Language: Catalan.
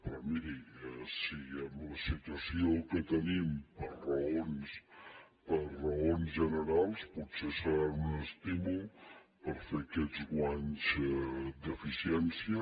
però miri en la situació que tenim per raons generals potser seran un estímul per fer aquests guanys d’eficiència